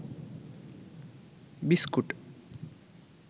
biscuit